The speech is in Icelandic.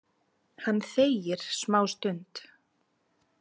Hann þegir smástund.